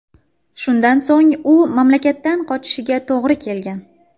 Shundan so‘ng u mamlakatdan qochishiga to‘g‘ri kelgan.